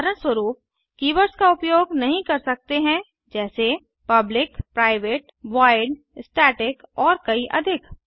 उदाहरणस्वरूप160 keywords का उपयोग नहीं कर सकते हैं जैसे पब्लिक प्राइवेट वॉइड स्टैटिक और कई अधिक